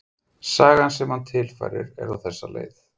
Sagan sem hann tilfærir er á þessa leið